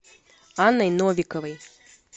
анной новиковой